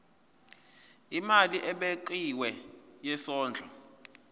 imali ebekiwe yesondlo